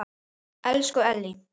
Elsku Ellý.